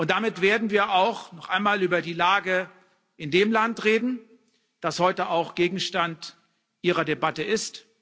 Damit werden wir auch noch einmal über die Lage in dem Land reden, das heute auch Gegenstand Ihrer Debatte ist.